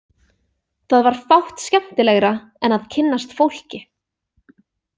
Það var fátt skemmtilegra en að kynnast fólki.